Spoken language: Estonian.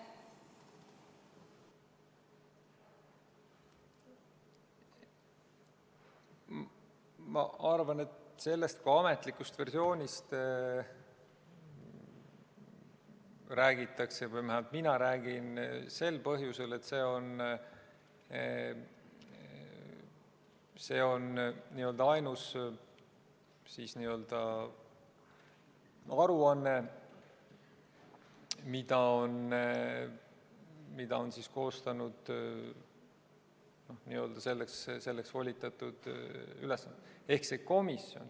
Ma arvan, et sellest kui ametlikust versioonist räägitakse või vähemalt mina räägin sel põhjusel, et see on ainus aruanne, mille on koostanud selleks volitatud ülesandega komisjon.